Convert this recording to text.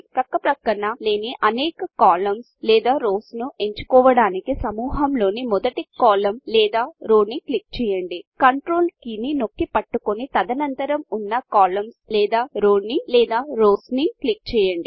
పక్కపక్కన లేని అనేక కాలమ్స్ లేదా రోస్ ను ఎంచుకోవడానికి సమూహంలోని మొదటి కాలమ్ లేదా రో ని క్లిక్ చేయండి కంట్రోల్ కీని నొక్కి పట్టుకొని తదనంతరం ఉన్న కాలమ్స్ లేదా రోస్ ని క్లిక్ చేయండి Controlకంట్రోల్కీని పట్టుకుని ఉన్నప్పుడు